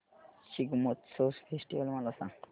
Shigmotsav festival मला सांग